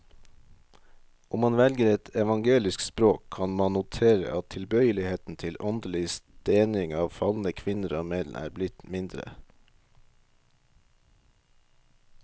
Om man velger et evangelisk språk, kan man notere at tilbøyeligheten til åndelig stening av falne kvinner og menn er blitt mindre.